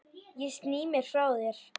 Ég sný mér frá þér.